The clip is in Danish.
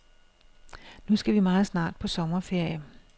Nu skal vi meget snart på sommerferie.